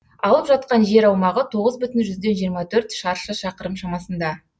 алып жатқан жер аумағы тоғыз бүтін жүзден жиырма төрт шаршы шақырым шамасында